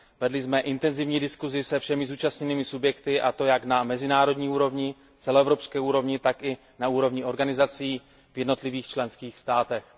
Vedli jsme intenzivní diskusi se všemi zúčastněnými subjekty, a to jak na mezinárodní úrovni, celoevropské úrovni, tak i na úrovni organizací v jednotlivých členských státech.